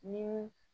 Ni